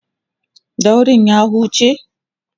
daurin ya huce?